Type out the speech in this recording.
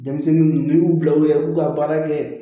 Denmisɛnnin n'i y'u bila u yɛrɛ b'u ka baara kɛ